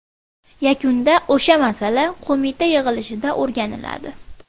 Yakunda o‘sha masala qo‘mita yig‘ilishida o‘rganiladi.